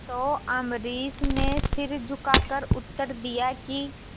तो अम्बरीश ने सिर झुकाकर उत्तर दिया कि